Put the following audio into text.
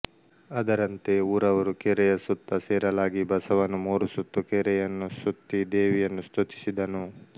ಅದರಂತೆ ಊರವರು ಕೆರೆಯ ಸುತ್ತ ಸೇರಲಾಗಿ ಬಸವನು ಮೂರು ಸುತ್ತು ಕೆರೆಯನ್ನು ಸುತ್ತಿ ದೇವಿಯನ್ನು ಸ್ತುತಿಸಿದನು